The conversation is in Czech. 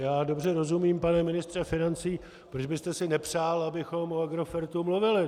Já dobře rozumím, pane ministře financí, proč byste si nepřál, abychom o Agrofertu mluvili.